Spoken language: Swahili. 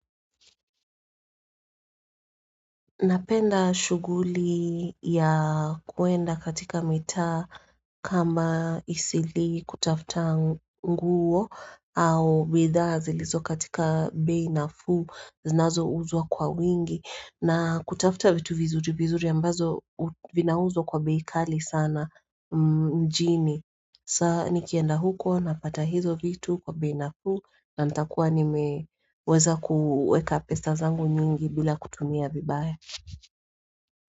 Napenda shuguli ya kwenda katika mitaa kama isili kutafuta nguo au bidhazi lizo katika bei nafuu zinazouzwa kwa wingi na kutafuta vitu vizuri vizuri ambazo vinauzwa kwa bei kali sana mjini sa nikienda huko napata hizo vitu kwa beinafu na ntakuwa nimeweza kuweka pesa zangu nyingi bila kutumia vibaye.